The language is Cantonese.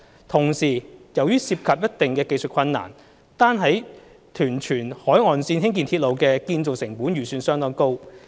同時，由於涉及一定的技術困難，單在屯荃海岸線興建鐵路的建造成本預算相當高。